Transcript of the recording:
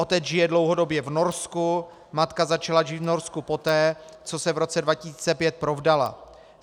Otec žije dlouhodobě v Norsku, matka začala žít v Norsku poté, co se v roce 2005 provdala.